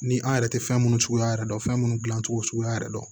Ni an yɛrɛ tɛ fɛn minnu suguya yɛrɛ dɔn fɛn minnu dilancogo suguya yɛrɛ don